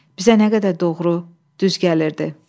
Bizə nə qədər doğru, düz gəlirdi.